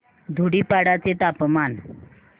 धुडीपाडा चे तापमान